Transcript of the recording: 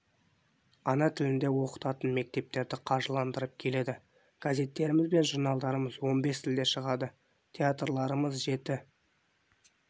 ана тіліне оқытатын мектептерді қаржыландырып келеді газеттеріміз бен журналдарымыз он бес тілде шығады театрларымыз жеті